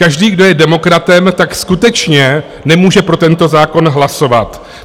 Každý, kdo je demokratem, tak skutečně nemůže pro tento zákon hlasovat.